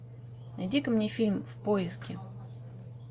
найди ка мне фильм в поиске